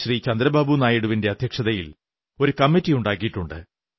ചന്ദ്രബാബു നായിഡുവിന്റെ അധ്യക്ഷതയിൽ ഒരു കമ്മറ്റിയുണ്ടാക്കിയിട്ടുണ്ട്